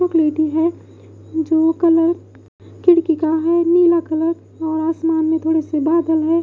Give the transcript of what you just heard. चॉकललेती है जो कलर खिड़की का है यैलो कलर और आसमान में थोड़े से बादल है।